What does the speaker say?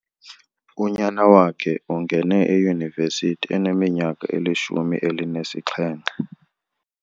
Unyana wakhe ungene eyunivesithi eneminyaka elishumi elinesixhenxe.